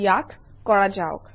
ইয়াক কৰা যাওক